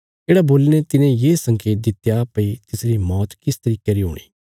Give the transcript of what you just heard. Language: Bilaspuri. येढ़ा बोलीने तिने ये संकेत दित्या भई तिसरी मौत किस तरिके री हूणी